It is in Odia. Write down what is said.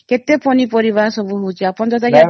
କେତେ ପନି ପରିବା ସବୁ ହଉଚି ଆପଣ ତ ଜାଣିଥିବେ